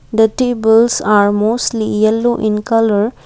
the tables are mostly yellow in colour.